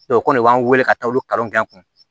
o kɔni b'an wele ka taa olu kalanw kɛ kun